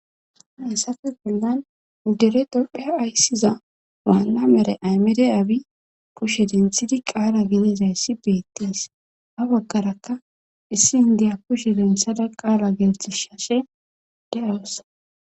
Hessafe bollan dere doppheya ayssiza waanna mere aymede abi kushe dinthidi qaala gileezayssi beettes ha baggarakka issi indiya kushe denthada qaala geltishshashe de'awossa.